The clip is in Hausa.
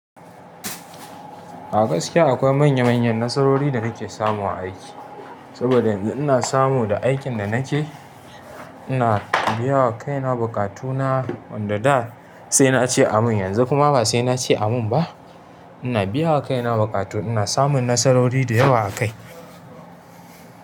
A gaskiya akwai manya manyan nasarori da nake samu a aiki. Saboda yanzu ina samu da aikin da nake, ina biya wa kaina bukatuna wanda da sai nace amin yanzu kuma ba sai nace amin ba. Ina biya wa kaina buƙatu, ina samun nasarori da yawa a kai.